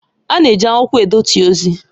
A na-eji akwụkwọ edetu ozi